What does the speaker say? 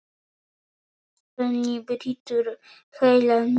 Svenni brýtur heilann mjög.